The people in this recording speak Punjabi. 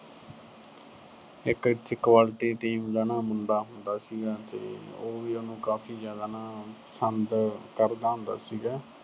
ਇੱਕ ਇੱਥੇ ਕਬੱਡੀ team ਦਾ ਨਾ ਮੁੰਡਾ ਹੁੰਦਾ ਸੀਗਾ ਤੇ ਉਹ ਵੀ ਉਹਨੂੰ ਕਾਫੀ ਜਿਆਦਾ ਨਾ ਅਹ ਪਸੰਦ ਕਰਦਾ ਹੁੰਦਾ ਸੀਗਾ।